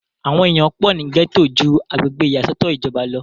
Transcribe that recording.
àwọn èèyàn pọ̀ ní gẹ́tò ju agbègbè ìyàsọ́tọ̀ ìjọba lọ